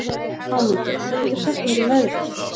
Hámundur, hvað geturðu sagt mér um veðrið?